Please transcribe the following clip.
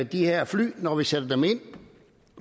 de her fly når vi sætter dem ind